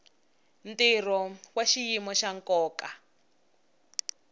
ntirho wa xiyimo xa nkoka